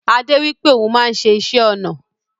Ade wipe oun maa n se isé-ona